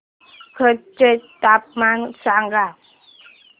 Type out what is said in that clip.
कच्छ चे तापमान सांगा